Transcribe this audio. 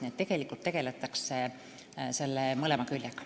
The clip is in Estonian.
Nii et tegeldakse mõlema küljega.